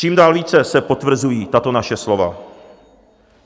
Čím dál více se potvrzují tato naše slova.